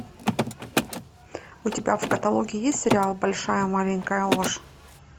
у тебя в каталоге есть сериал большая маленькая ложь